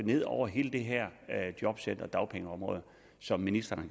ned over hele det her jobcenter og dagpengeområde som ministeren